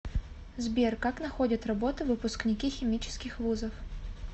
сбер как находят работу выпускники химических вузов